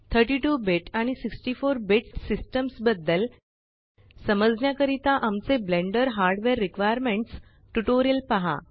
32 bit आणि 64 bit systems बद्दल समजण्याकरिता आमचे ब्लेंडर हार्डवेअर रिक्वायरमेंट्स ट्यूटोरियल पहा